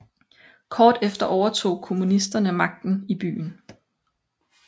Kort efter overtog kommunisterne magten i byen